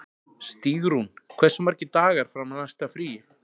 Stígrún, hversu margir dagar fram að næsta fríi?